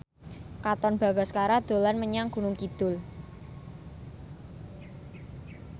Katon Bagaskara dolan menyang Gunung Kidul